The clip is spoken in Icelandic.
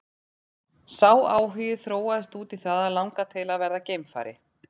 Sá áhugi þróaðist út í það að langa til að verða geimfari.